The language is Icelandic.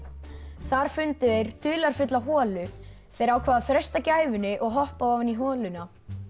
þar fundu þeir dularfulla holu þeir ákváðu að freista gæfunnar og hoppa ofan í holuna